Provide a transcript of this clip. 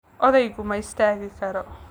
Odaygu ma istaagi karo